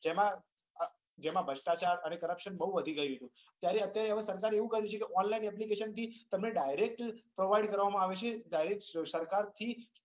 તેમાં ભ્રષ્ટાચાર અને corruption બઉ વધી ગયું ત્યારે અત્યારે સરકારે એવું કરી દીધું કે online application થી તમે direct provide કરવામાં આવે છે direct સરકાર થી